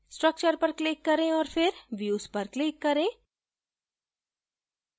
structure पर click करें और फिर views पर click करें